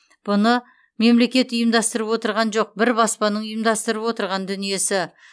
бұны мемлекет ұйымдастырып отырған жоқ бір баспаның ұйымдастырып отырған дүниесі